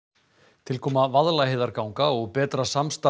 tilkoma Vaðlaheiðarganga og betra samstarf